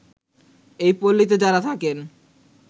এই পল্লীতে যারা থাকেন